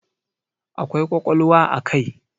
Akwai ƙwaƙwalwa a kai.